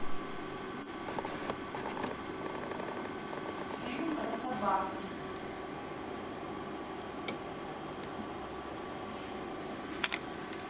фильм про собаку